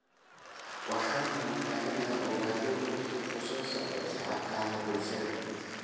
Waxaan rabaa inaan ogaado waxa ku socda shabakadaha bulshada